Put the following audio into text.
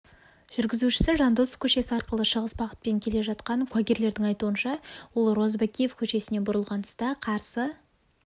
жүргізушісі жандосов көшесі арқылы шығыс бағытпен келе жатқан куәгерлердің айтуынша ол розыбакиев көшесіне бұрылған тұста қарсы